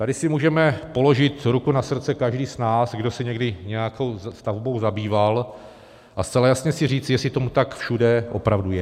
Tady si můžeme položit ruku na srdce každý z nás, kdo se někdy nějakou stavbou zabýval, a zcela jasně si říct, jestli tomu tak všude opravdu je.